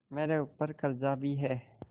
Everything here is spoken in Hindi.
मेरे ऊपर कर्जा भी है